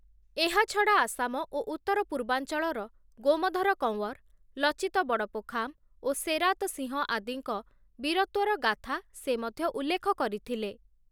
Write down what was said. ଏହାଛଡା ଆସାମ ଓ ଉତ୍ତର ପୂର୍ବାଞ୍ଚଳର ଗୋମଧର କୱଁର, ଲଚିତ ବଡପୋଖାମ ଓ ସେରାତ ସିଂହ ଆଦିଙ୍କ ବୀରତ୍ୱର ଗାଥା ସେ ମଧ୍ୟ ଉଲ୍ଲେଖ କରିଥିଲେ ।